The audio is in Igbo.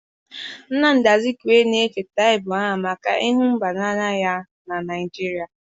nnamdi Azikiwe na-echeta ugbu a maka ịhụ mba n'anya ya na Naijiria.